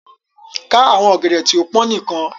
Kà àwọn ògèdè tí o pọn níkan!